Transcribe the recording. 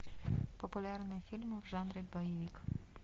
популярные фильмы в жанре боевик